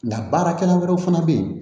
Nka baarakɛla wɛrɛw fana bɛ yen